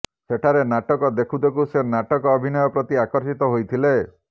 ସେଠାରେ ନାଟକ ଦେଖୁ ଦେଖୁ ସେ ନାଟକ ଅଭିନୟ ପ୍ରତି ଆକର୍ଷିତ ହୋଇଥିଲେ